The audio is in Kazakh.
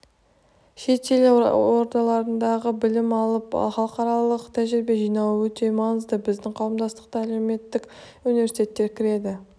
шет ел ордаларында білім алып халықаралық тәжірибе жинауы өте маңызды біздің қауымдастыққа әлемдік университеттер кіреді